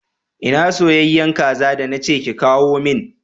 Ina soyayyen kaza da na ce ki kawo min?